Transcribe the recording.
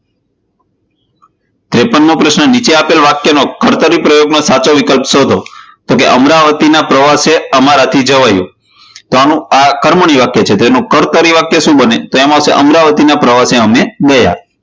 તેપણમો પ્રશ્ન નીચે આપેલ વાક્ય મો કર્તરી પ્રયોગનો સાચો વિકલ્પ શોધો, તો અમરાવતી ના પ્રવાસે અમારાથી જવાયું તો આ કર્મની વાક્ય છે તો આનો કર્તરિ વાક્ય શું બને? તો આવશે અમરાવતી ના પ્રવાસે અમે ગયા.